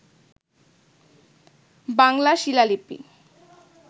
বাংলা শিলালিপি